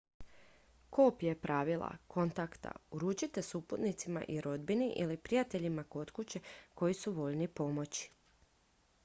kopije pravila/kontakta uručite suputnicima i rodbini ili prijateljima kod kuće koji su voljni pomoći